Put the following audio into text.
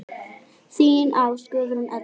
Þín Ásta Guðrún Eydal.